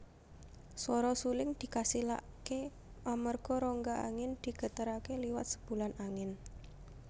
Swara suling dikasilaké amarga rongga angin digeteraké liwat sebulan angin